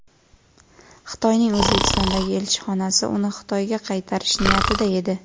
Xitoyning O‘zbekistondagi elchixonasi uni Xitoyga qaytarish niyatida edi”.